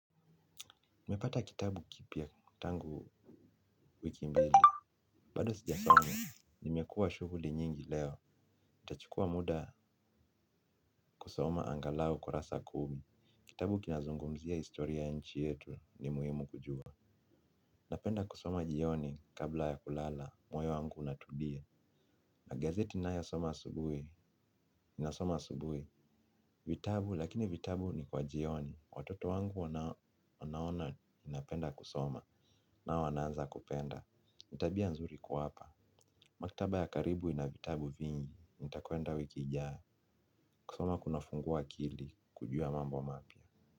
Nimepata kitabu kipya tangu wiki mbili, bado sijasoma, nimekuwa shughuli nyingi leo, nitachukua muda kusoma angalau kurasa kumi. Kitabu kinazungumzia historia ya nchi yetu ni muhimu kujua, napenda kusoma jioni kabla ya kulala, moyo wangu unatulia, na gazeti ninayosoma asubuhi, nasoma asubuhi, vitabu lakini vitabu ni kwa jioni, watoto wangu wanaona napenda kusoma, nao wanaanza kupenda. Ni tabia nzuri kuwapa. Maktaba ya karibu ina vitabu vingi. Nitakwenda wiki ijayo. Kusoma kunafungua akili kujua mambo mapya.